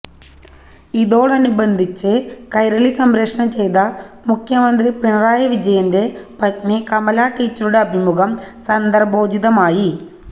ഇതോടനുബന്ധിച്ച് കൈരളി സംപ്രഷണം ചെയ്ത മുഖ്യമന്ത്രി പിണറായി വിജയന്റെ പത്നി കമലാ ടീച്ചറുടെ അഭിമുഖം സന്ദർഭോചിതമായി